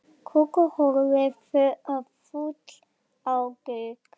Kókó horfði fúl á Gauk.